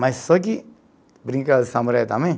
Mas só que brincava de samurai também.